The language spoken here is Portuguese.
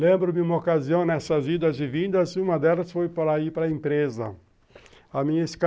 Lembro-me uma ocasião nessas idas e vindas, uma delas foi para ir para empresa.